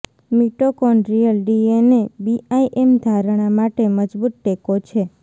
mitochondrial DNA BIM ધારણા માટે મજબૂત ટેકો છે